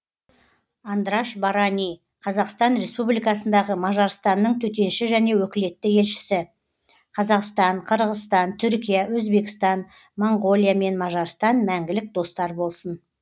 андраш барани қазақстан республикасындағы мажарстанның төтенше және өкілетті елшісі қазақстан қырғызстан түркия өзбекстан моңғолия мен мажарстан мәңгілік достар болсын